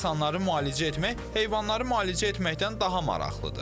Yəqin ki, insanları müalicə etmək heyvanları müalicə etməkdən daha maraqlıdır.